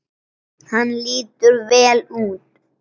Hann lítur vel út.